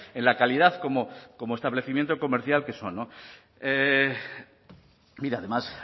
en la calidad como establecimiento comercial que son no mire además